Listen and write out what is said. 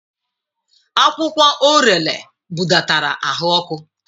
Akwụkwọ Orele budatara ahụ ọkụ.